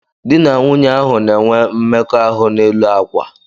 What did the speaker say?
Dị na nwunye ahụ na-enwe mmekọahụ n'elu àkwà.